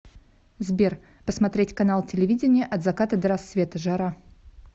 сбер посмотреть канал телевидения от заката до рассвета жара